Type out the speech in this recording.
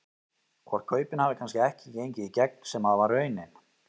Hvort kaupin hafi kannski ekki gengið í gegn sem að var raunin?